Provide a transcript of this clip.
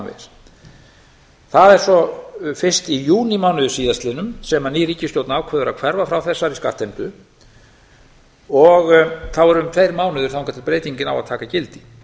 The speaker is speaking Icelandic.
framvegis það er svo fyrst í júnímánuði sem ný ríkisstjórn ákveður að hverfa frá þessari skattheimtu og þá eru um tveir mánuðir þangað til breytingin á að taka gildi